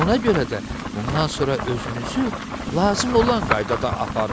Ona görə də bundan sonra özünüzü lazım olan qaydada aparın,